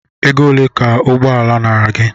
Ego ole ka ụgbọala nara gị?